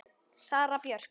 Sara Björk.